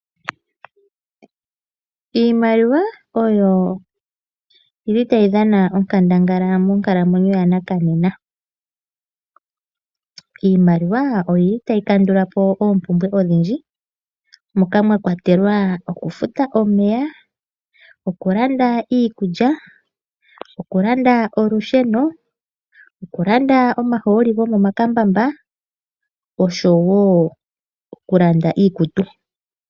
Iimaliwa oyo tayi dhana onkandangala monkalamwenyo yanakanena. Iimaliwa otayi kandula po oompumbwe odhindji moka mwa kwatelwa okufuta omeya, okulanda iikulya, okulanda olusheno, okulanda omahooli gomomakambamba oshowo okulanda iikutu.